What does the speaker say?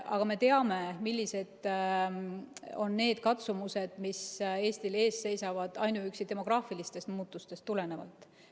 Aga me teame, millised on need katsumused, mis Eestil ees seisavad ainuüksi demograafilistest muutustest tulenevalt.